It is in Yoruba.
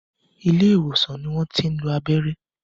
Ilé ìwòsàn ni wọ́n tí ń lo abẹ́rẹ́